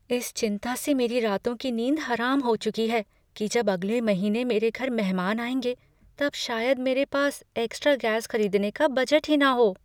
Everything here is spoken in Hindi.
इस चिंता से मेरी रातों की नींद हराम हो चुकी है कि जब अगले महीने मेरे घर मेहमान आएँगे तब शायद मेरे पास एक्स्ट्रा गैस खरीदने का बजट ही न हो।